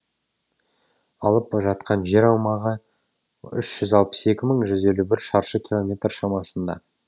алып жатқан жер аумағы үш жүз алпыс екі мың жүз елу бір шаршы километр шамасында